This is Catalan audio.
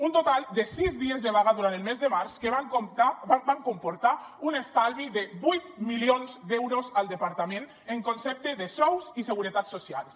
un total de sis dies de vaga durant el mes de març que van comportar un estalvi de vuit milions d’euros al departament en concepte de sous i seguretat socials